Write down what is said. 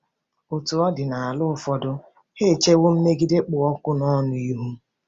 Otú ọ dị nala ụfọdụ, ha echewo mmegide kpụ ọkụ nọnụ ihu.